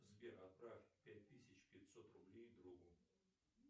сбер отправь пять тысяч пятьсот рублей другу